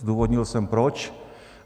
Zdůvodnil jsem proč.